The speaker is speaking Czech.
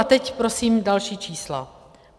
A teď prosím další čísla.